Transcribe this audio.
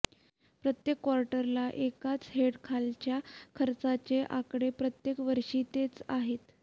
प्रत्येक क्वार्टरला एकाच हेडखालच्या खर्चाचे आकडे प्रत्येक वर्षी तेच आहेत